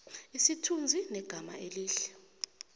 isithunzi negama elihle